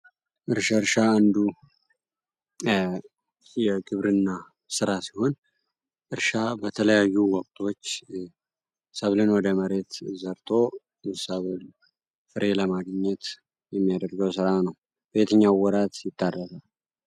እርሻ እርሻ አንዱ የግብርና ሥራ ሲሆን እርሻ በተለያዩ ወቅቶች ሰብልን ወደ መሬት ዘርቶ ሰብል ፍሬ ለማገኘት የሚያደርገው ሥራ ነው ። በየትኛውም ወራት ይመረልታ።